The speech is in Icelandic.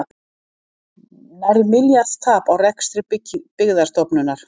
Nærri milljarðs tap á rekstri Byggðastofnunar